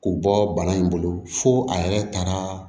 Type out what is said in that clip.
K'u bɔ bana in bolo fo a yɛrɛ taara